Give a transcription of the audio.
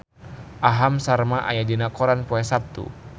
Aham Sharma aya dina koran poe Saptu